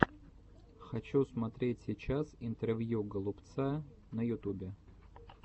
хочу смотреть сейчас интервью голубца на ютубе